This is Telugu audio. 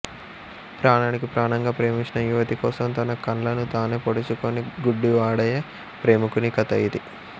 ప్రాణానికి ప్రాణంగా ప్రేమించిన యువతి కోసం తన కళ్ళను తానే పొడుచుకొని గుడ్డి వాడయే ప్రేమికుని కథ ఇది